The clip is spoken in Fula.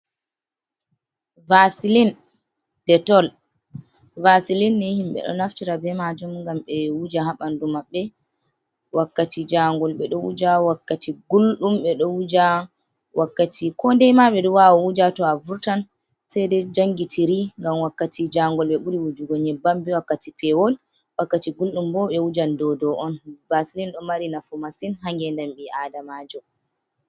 Vasilin detol, vasilin ni himɓe ɗo naftira be maajum, ngam ɓe wuja haa ɓanndu maɓɓe wakkati jaangol. Ɓe ɗo wuja wakkati gulɗum, ɓe ɗo wuja wakkati koodey ma, ɓe ɗo waawo wuja to a vurtan. Sey ɗo jonngitiri ngam wakkati jaangol, ɓe ɓuri wuju on nyebbam be wakkati peewol, wakkati gulɗum bo, ɓe wujan dow dow on. Baasilin ɗo mari nafu masin, haa ngeendam bii aadamajo.